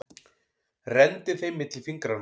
Renndi þeim milli fingranna.